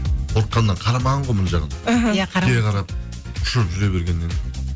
қорыққаннан қарамаған ғой мына жағын кері қарап ұшып жүре бергеннен